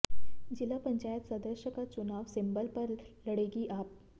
जिला पंचायत सदस्य का चुनाव सिंबल पर लड़ेगी आप